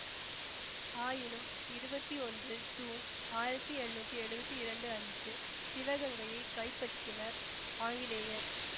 ஆயினும் இருவத்தி ஒன்று ஜூன் ஆயிரத்தி எழுநூத்தி எழுவத்தி இரண்டு அன்று சிவகங்கையை கைப்பற்றினர் ஆங்கிலேயர்